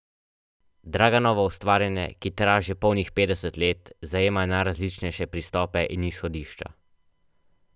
Draganovo ustvarjanje, ki traja že polnih petdeset let, zajema najrazličnejše pristope in izhodišča.